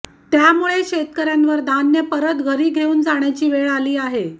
त्यामुळे शेतकऱ्यांवर धान परत घरी घेऊन जाण्याची वेळ आली